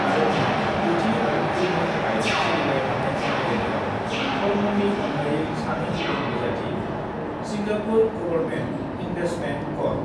हादतनि 9थि हादतगिरिनि थाखाय सोलिबाय थानाय बादायनायाव थरमननि अनगायै सानै गुबुन बिजाथि 'सिंगापुर गभर्नमेन्ट इन्भेस्टमेन्ट कर्प'